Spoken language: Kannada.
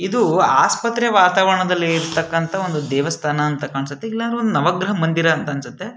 ಇದು ಆಸ್ಪತ್ರೆ ವಾತಾವರಣದಲ್ಲಿ ಇರತಕ್ಕಂತ ಒಂದು ದೇವಸ್ತಾನ ಅಂತ ಕಾಣ್ಸುತ್ತೆ ಇಲ್ಲ ಒಂದು ನವಗ್ರಹ ಮಂದಿರ್ ಅನ್ಸುತ್ತೆ-